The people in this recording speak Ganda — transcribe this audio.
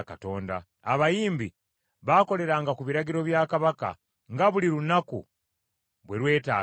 Abayimbi baakoleranga ku biragiro bya kabaka, nga buli lunaku bwe lwetaaganga.